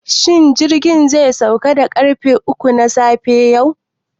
Shin jirgin zai sauka da ƙarfe uku na safe yau?